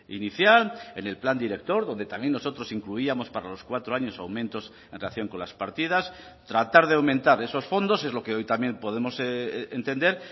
inicial en el plan director donde también nosotros incluíamos para los cuatro años aumentos en relación con las partidas tratar de aumentar esos fondos es lo que hoy también podemos entender